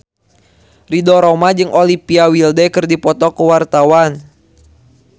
Ridho Roma jeung Olivia Wilde keur dipoto ku wartawan